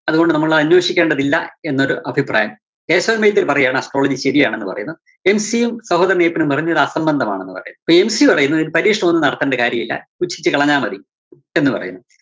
അതുകൊണ്ട് നമ്മളന്വേഷിക്കേണ്ടതില്ല എന്നൊരു അഭിപ്രായം, കേശവന്‍ വൈദ്യര് പറയാണ് astrology ശരിയാണെന്നു പറയുന്നു. MC യും സഹോദരന്‍ അയ്യപ്പനും പറയുന്നു ഇത് അസംബന്ധമാണെന്ന് പറയുന്നു. അപ്പോ MC പറയുന്നു പരീക്ഷണം ഒന്നും നടത്തേണ്ട കാര്യമില്ല പുച്ഛിച്ച് കളഞ്ഞാമതി എന്നുപറയുന്നു.